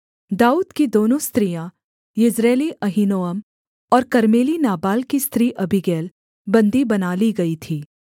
दाऊद की दोनों स्त्रियाँ यिज्रेली अहीनोअम और कर्मेली नाबाल की स्त्री अबीगैल बन्दी बना ली गई थीं